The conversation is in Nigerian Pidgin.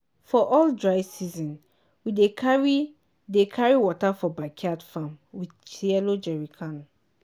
for all dry season we dey carry dey carry water for backyard farm with yellow jerrycan.